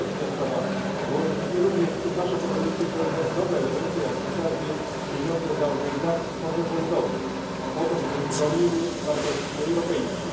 I ostatnia sprawa Włożyliśmy również w naszą propozycję pewne nowe elementy, jak chociażby pieniądze dla organizacji pozarządowych, po to żeby broniły wartości europejskich.